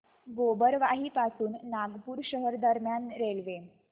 गोबरवाही पासून नागपूर शहर दरम्यान रेल्वे